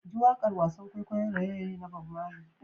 JI wakar wasan kwaikwayon raye-raye na Bob Marley.